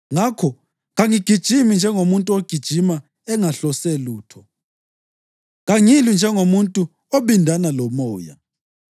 Ngakho kangigijimi njengomuntu ogijima engahlose lutho; kangilwi njengomuntu obindana lomoya.